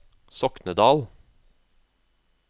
Soknedal